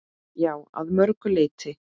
Já, að mörgu leyti.